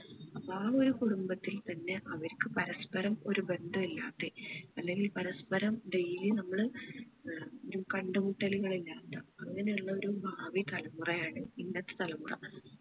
അപ്പൊ ആ ഒരു കുടുംബത്തിൽ തന്നെ അവരിക്ക് പരസ്പ്പരം ഒരു ബന്ധം ഇല്ലാതെ അല്ലേല് പരസ്പ്പരം daily നമ്മള് ഏർ ഒരു കണ്ടുമുട്ടലുകൾ ഇല്ലാത്ത അങ്ങനെ ഉള്ള ഒരു ഭാവി തലമുറ ആണ് ഇന്നത്തെ തലമുറ